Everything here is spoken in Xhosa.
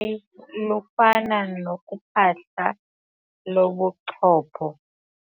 yi lufana nophahla lobuchopho.